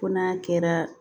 Ko n'a kɛra